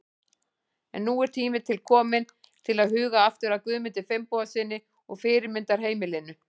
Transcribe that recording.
En nú er tími til kominn til að huga aftur að Guðmundi Finnbogasyni og fyrirmyndarheimilinu.